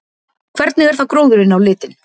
Hvernig er þá gróðurinn á litinn?